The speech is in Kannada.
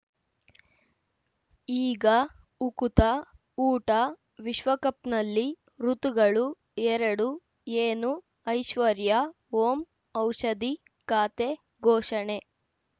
ಈಗ ಉಕುತ ಊಟ ವಿಶ್ವಕಪ್‌ನಲ್ಲಿ ಋತುಗಳು ಎರಡು ಏನು ಐಶ್ವರ್ಯಾ ಓಂ ಔಷಧಿ ಖಾತೆ ಘೋಷಣೆ